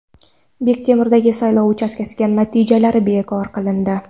Bektemirdagi saylov uchastkasi natijalari bekor qilindi.